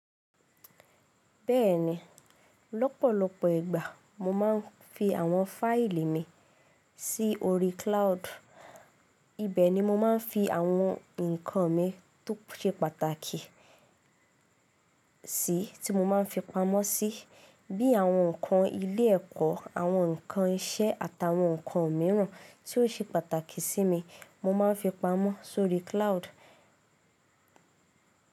Bẹ́ẹ̀ni, lọ́pọ̀lọpọ̀ ìgbà mo máa ń fi àwọn fáìlì mi sí orí cloud. Ibẹ̀ ni mo máa ń fi àwọn nǹkan mi tó ṣe pàtàkì sí tí mo máa ń fi pamọ́ sí, bí i àwọn nǹkan ilé ẹ̀kọ́, àwọn nǹkan iṣẹ́ àtàwọn nǹkan mìíràn tí ó ṣe pàtàkì sí mi mo máa ń fi pamọ́ sórí cloud.